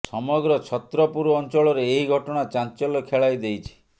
ସମଗ୍ର ଛତ୍ରପୁର ଅଞ୍ଚଳରେ ଏହି ଘଟଣା ଚାଞ୍ଚଲ୍ୟ ଖେଳାଇ ଦେଇଛି